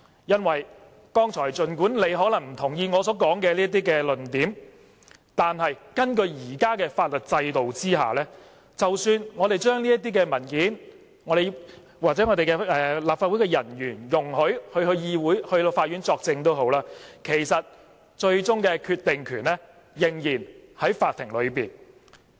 原因是，儘管有議員可能不同意我剛才所說的論點，但根據現行法律制度，即使我們向法庭提供這些文件，或容許我們立法會人員到法院作證，其實最終的決定權仍然在法庭上。